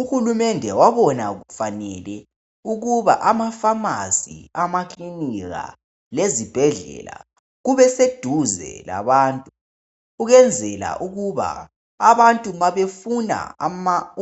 Uhulumende wabona kufanele ukuba amafamasi amakilinika lezibhedlela kube seduze labantu ukwenzela ukuba abantu ma befuna